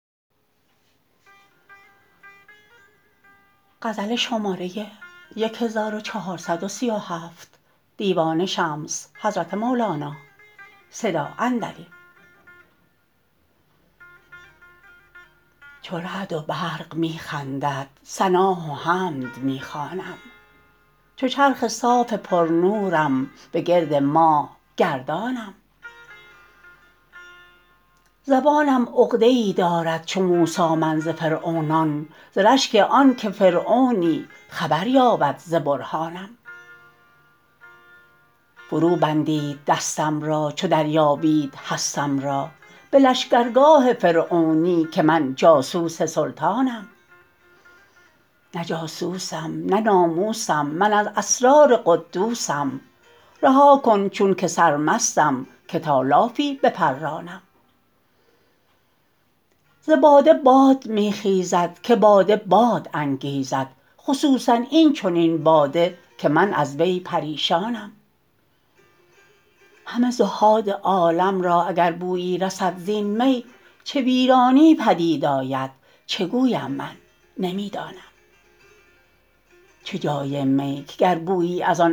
چو رعد و برق می خندد ثنا و حمد می خوانم چو چرخ صاف پرنورم به گرد ماه گردانم زبانم عقده ای دارد چو موسی من ز فرعونان ز رشک آنک فرعونی خبر یابد ز برهانم فروبندید دستم را چو دریابید هستم را به لشکرگاه فرعونی که من جاسوس سلطانم نه جاسوسم نه ناموسم من از اسرار قدوسم رها کن چونک سرمستم که تا لافی بپرانم ز باده باد می خیزد که باده باد انگیزد خصوصا این چنین باده که من از وی پریشانم همه زهاد عالم را اگر بویی رسد زین می چه ویرانی پدید آید چه گویم من نمی دانم چه جای می که گر بویی از آن انفاس سرمستان رسد در سنگ و در مرمر بلافد کآب حیوانم وجود من عزبخانه ست و آن مستان در او جمعند دلم حیران کز ایشانم عجب یا خود من ایشانم اگر من جنس ایشانم وگر من غیر ایشانم نمی دانم همین دانم که من در روح و ریحانم